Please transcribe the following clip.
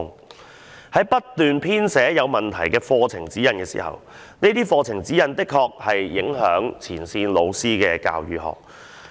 課程發展處不斷編寫有問題的課程指引，而這些課程指引確實會影響前線老師的教學工作。